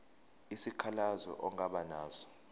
isikhalazo ongaba naso